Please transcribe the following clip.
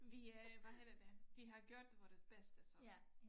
Vi øh hvad hedder det vi har gjort vores bedste så